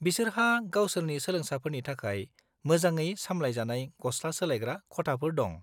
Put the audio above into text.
-बिसोरहा गावसोरनि सोलोंसाफोरनि थाखाय मोजाङै सामलायजानाय गस्ला सोलायग्रा खथाफोर दं।